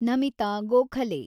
Namita Gokhale